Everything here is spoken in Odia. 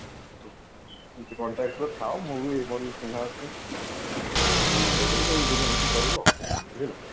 ଏମିତି contact ରେ ଥାଓ ମୁ ବି ମୋର ଚିହ୍ନା ଅଛନ୍ତି ତମେ ବୁଝବୁଝି କରିବ ଆଉ ବୁଝିଲ